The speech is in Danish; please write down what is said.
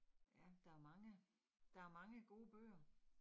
Ja, der mange. Der mange gode bøger